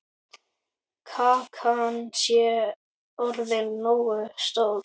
Kakan sé orðin nógu stór.